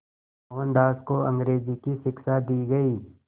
मोहनदास को अंग्रेज़ी की शिक्षा दी गई